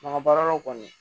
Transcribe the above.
Bagan baaralaw kɔni